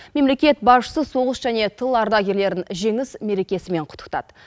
мемлекет басшысы соғыс және тыл ардагерлерін жеңіс мерекесімен құттықтады